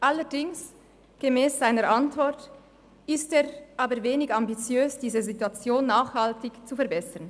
Allerdings ist er gemäss seiner Antwort aber wenig ambitiös, diese Situation nachhaltig zu verbessern.